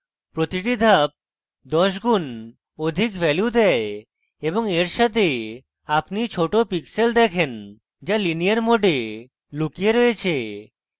প্রতিটি ধাপ দশ গুন অধিক value দেয় এবং এর সাথে আপনি ছোট pixels দেখেন যা linear mode লুকিয়ে রয়েছে